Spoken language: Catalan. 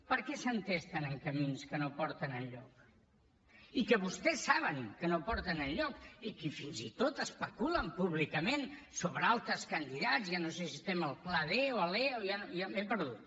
per què s’entesten en camins que no porten enlloc i que vostès saben que no porten enlloc i que fins i tot especulen públicament sobre altres candidats que ja no sé si estem al pla d o a l’e m’he perdut